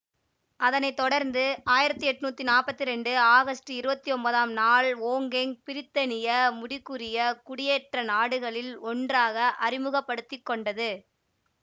அதனை தொடர்ந்து ஆயிரத்தி எட்ணூத்தி நாப்பத்தி இரண்டு ஆகஸ்ட் இருவத்தி ஒன்பதாம் நாள் ஒங்கொங் பிரித்தானிய முடிக்குரிய குடியேற்றநாடுகளில் ஒன்றாக அறிமுகப்படுத்திக்கொண்டது